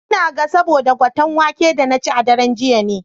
Ina ga saboda gwaten waken da na ci a daren jiya ne.